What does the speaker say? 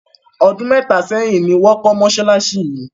Ọdún mẹ́ta sẹ́yìn ni wọ́n kọ́ mọ́ṣáláṣí yìí.